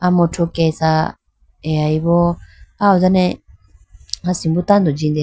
Amuthu kesha deyayi bo ah ho done asimbo tando jindeyayi bo.